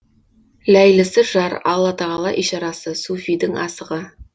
ләйлісі жар аллатағала ишарасы суфийдің асығы